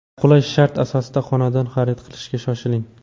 Qulay shartlar asosida xonadon xarid qilishga shoshiling.